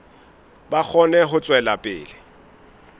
ba kgone ho tswela pele